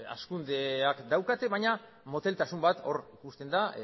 hazkundeak daukate baina moteltasun bat hor ikusten da